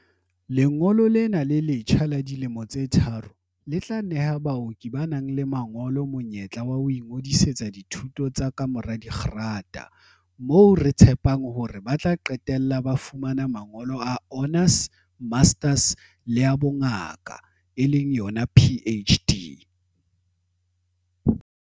"Lengolo lena le letjha la dilemo tse tharo le tla neha baoki ba nang le mangolo monyetla wa ho ingodisetsa dithuto tsa kamora dikgerata, moo re tshepang hore ba tla qetella ba fumane mangolo a honours, masters le a bongaka, PhD."